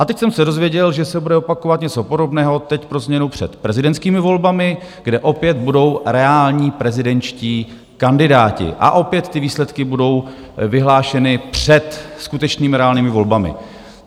A teď jsem se dozvěděl, že se bude opakovat něco podobného, teď pro změnu před prezidentskými volbami, kde opět budou reální prezidentští kandidáti, a opět ty výsledky budou vyhlášeny před skutečnými, reálnými volbami.